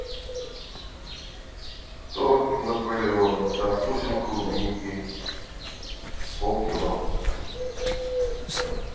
торт наполеон со вкусом клубники полкило